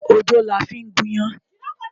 Odó la fí ń gún iyán.